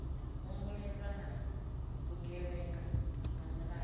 humbulelwa na vhugevhenga nga miraḓo